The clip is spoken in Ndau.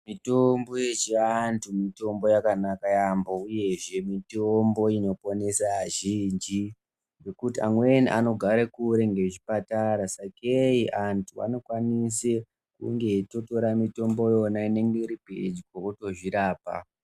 Mitombo yechiantu mitombo yakanaka yaambo uyehe mitombo inoponesa azhinji. Ngekuti amweni anogara kure ngezvipatara sakei antu anokwanise kunge eitotora mitombo iyona inenge iripedyo votozvirapa.